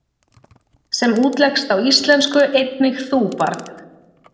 sem útleggst á íslensku einnig þú, barn?